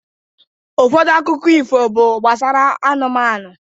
Ụfọdụ akụkọ ifo bụ gbasara anụmanụ.